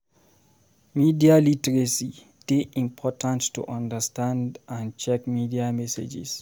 Media literacy dey important to understand and check media messages.